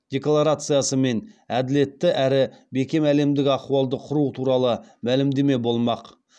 декларациясы мен әділетті әрі бекем әлемдік ахуалды құру туралы мәлімдеме болмақ